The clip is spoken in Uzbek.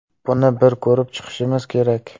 Buni bir ko‘rib chiqishimiz kerak.